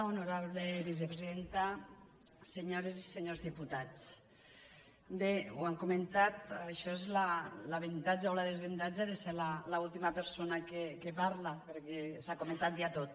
honorable vicepresidenta senyores i senyors diputats bé ho han comentat això és l’avantatge o el desavantatge de ser l’última persona que parla perquè s’ha comentat ja tot